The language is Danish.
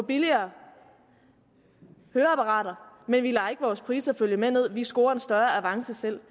billigere høreapparater men vi lader ikke vores priser følge med ned vi scorer en større avance selv